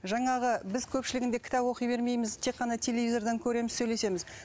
жаңағы біз көпшілігінде кітап оқи бермейміз тек қана телевизордан көреміз сөйлесеміз